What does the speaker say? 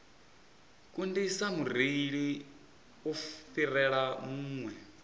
kundisa mureili u fhirela vhuṅwe